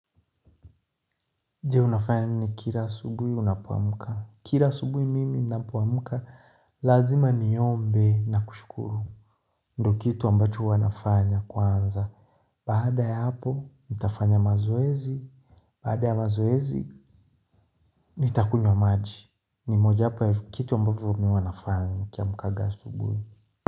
Je? Unafanya nini kila asubuhi unapoamka. Kila asubuhi mimi ninapoamka. Lazima niombe na kushukuru. Ndio kitu ambacho huwa nafanya kwanza. Baada ya hapo, nitafanya mazoezi. Baada ya mazoezi, nitakunywa maji. Ni mojawapo ya kitu ambacho mimi huwa nafanya nikiamkanga asubuhi.